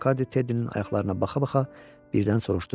Missis Makarddi Teddinin ayaqlarına baxa-baxa birdən soruşdu.